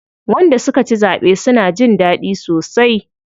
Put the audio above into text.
Wanda suka ci zaɓe suna jin daɗi sosai.